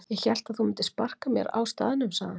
Ég hélt að þú myndir sparka mér á staðnum sagði hann.